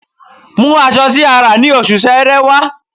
Mú aṣọ tí a rà ní Oṣù Sẹẹrẹ wá